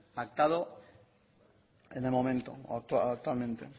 pactado en el momento actualmente